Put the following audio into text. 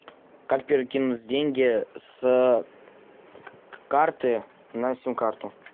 как перекинуть деньги с карты на сим карту